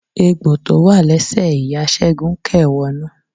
Egbò tó wà lẹsẹ ìyá Sẹgun kè wọnú.